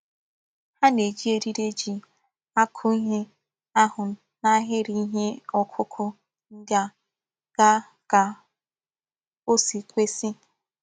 Ha na-eji eriri e ji aku ihe ahu na ahiri ihe okuku ndi a ga ka o si kwesi.